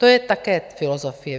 To je také filozofie.